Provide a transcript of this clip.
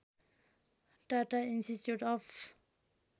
Tata institute of